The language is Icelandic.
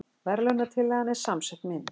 Verðlaunatillagan er samsett mynd